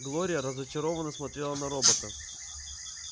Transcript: глория разочарованно смотрела на робота